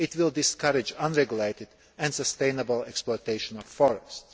It will discourage unregulated, unsustainable exploitation of forests.